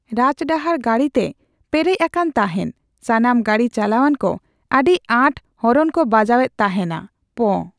ᱨᱟᱡᱽᱰᱟᱦᱟᱨ ᱜᱟᱲᱤ ᱛᱮ ᱯᱮᱨᱮᱡ ᱟᱠᱟᱱ ᱟᱠᱟᱱᱮ ᱛᱟᱦᱮᱱ᱾ ᱥᱟᱱᱟᱢ ᱜᱟᱰᱤ ᱪᱟᱞᱟᱣᱟᱱ ᱠᱚ ᱟᱰᱤ ᱟᱸᱴ ᱦᱚᱨᱚᱱ ᱠᱚ ᱵᱟᱡᱟᱣ ᱮᱫ ᱛᱟᱦᱮᱱᱟ᱾ ᱯᱚᱺ!